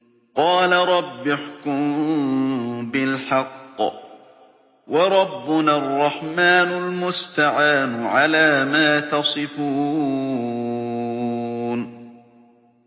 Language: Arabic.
قَالَ رَبِّ احْكُم بِالْحَقِّ ۗ وَرَبُّنَا الرَّحْمَٰنُ الْمُسْتَعَانُ عَلَىٰ مَا تَصِفُونَ